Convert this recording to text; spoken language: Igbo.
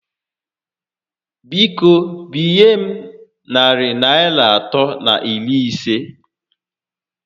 Biko, binye m narị Naịra atọ na iri isé